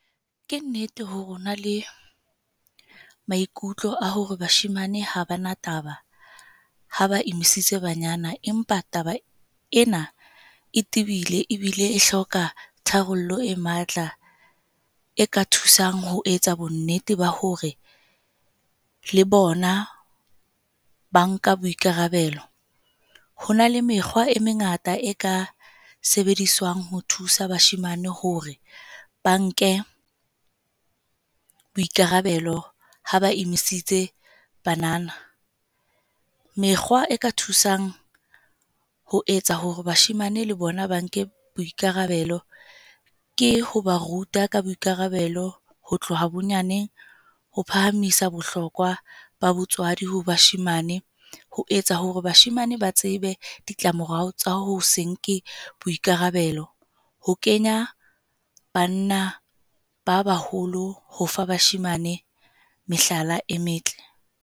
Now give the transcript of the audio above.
Ke nnete hore ho na le maikutlo a hore bashemane ha bana taba ha ba emisitse banyana, empa taba ena e tibile ebile e hloka tharollo e matla. E ka thusang ho etsa bonnete ba hore le bona ba nka boikarabelo. Ho na le mekgwa e mengata e ka sebediswang ho thusa bashemane hore ba nke boikarabelo ha ba emisitse banana. Mekgwa e ka thusang ho etsa hore bashemane le bona ba nke boikarabelo ke ho ba ruta ka boikarabelo ho tloha bonyaneng ho phahamisa bohlokwa ba botswadi ho bashemane. Ho etsa hore bashemane ba tsebe ditlamorao tsa ho se nke boikarabelo. Ho kenya banna ba baholo, ho fa bashemane mehlala e metle.